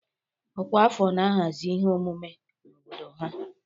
Ọkwa afọ na-ahazi ihe omume na obodo ha